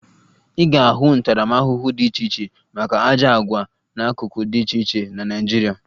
Ị ga-ahụ ntaramahụhụ dị iche iche maka ajọ àgwà n'akụkụ dị iche iche na Naịjirịa